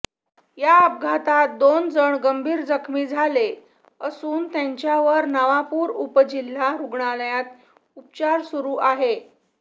या अपघातात दोन जण गंभीर जखमी झाले असून त्यांचावर नवापूर उपजिल्हा रुग्णालयात उपचार सुरु आहे